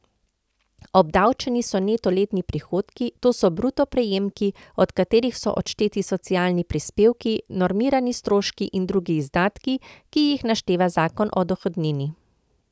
Obdavčeni so neto letni prihodki, to so bruto prejemki, od katerih so odšteti socialni prispevki, normirani stroški in drugi izdatki, ki jih našteva zakon o dohodnini.